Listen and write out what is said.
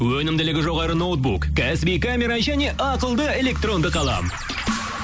өнімділігі жоғары ноутбук кәсіби камера және ақылды электронды қалам